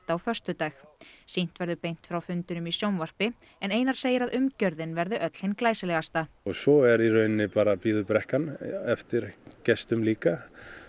á föstudag sýnt verður beint frá fundinum í sjónvarpi en Einar segir að umgjörðin verði öll hin glæsilegasta svo í rauninni bíður brekkan eftir gestum líka